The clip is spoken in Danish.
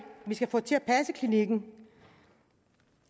vi skal få til at passe klinikkerne